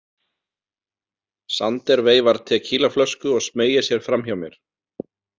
Sander veifar tekílaflösku og smeygir sér fram hjá mér.